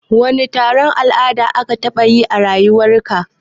Wani taro na la'ada ka taɓa yi a rayuwar ka?